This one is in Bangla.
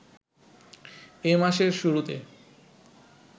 এ মাসের শুরুতে